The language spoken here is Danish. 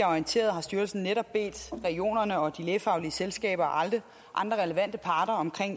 orienteret har styrelsen netop bedt regionerne og de lægefaglige selskaber og andre relevante parter om